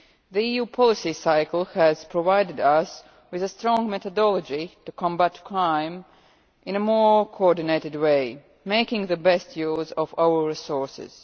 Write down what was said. The EU policy cycle has provided us with a strong methodology to combat crime in a more coordinated way, making the best use of our resources.